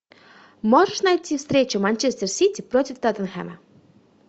можешь найти встречу манчестер сити против тоттенхэма